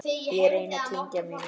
Ég reyni að kyngja mínu.